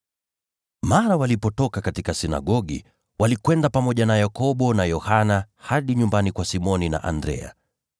Mara walipotoka katika sinagogi, walikwenda pamoja na Yakobo na Yohana hadi nyumbani kwa Simoni na Andrea.